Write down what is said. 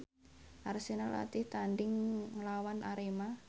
Arsenal latih tandhing nglawan Arema